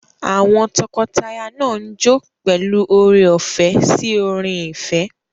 Àwọn tọkọtaya náà ń jó pẹ̀lú oore-ọ̀fẹ́ sí orin ìfẹ́.